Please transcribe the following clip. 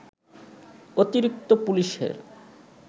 অতিরিক্ত পুলিশের